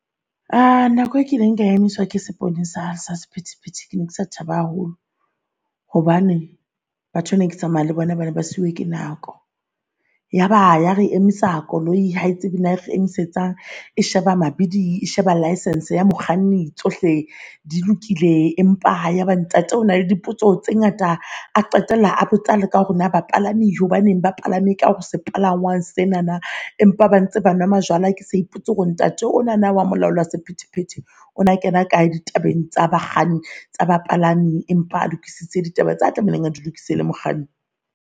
Nako e kileng ka emiswa ke seponesa sa sephethephethe. Ke ne ke sa thaba haholo hobane batho neke tsamaya le bona bana ba siuwe ke nako. Yaba ya re emisa koloi hae tsebe na re emisetsang esheba mabidi e sheba license ya mokganni tsohle di lokile. Empa ha yaba ntate o na le dipotso tse ngata, a qetella a botsa ka hore na bapalami hobaneng ba palame ka o sepalangwang tsenana empa ba ntse ba nwa majwala. Ke sa ipotse hore ntate onana wa molaola sephetephete ona, ona kena kae di tabeng tsa bakganni tsa bapalami, empa a lokisitse ditaba tsa tlamehileng a di lokiswe le mokganni.